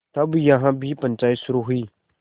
तब यहाँ भी पंचायत शुरू हुई